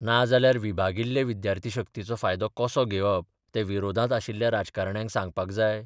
नाजाल्यार विभागिल्ले विद्यार्थी शक्तीचो फायदो कसो घेवप तें विरोधांत आशिल्ल्या राजकारण्यांक सांगपाक जाय?